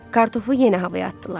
Kartofu yenə havaya atdılar.